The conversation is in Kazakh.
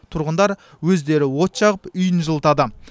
тұрғындар өздері от жағып үйін жылытады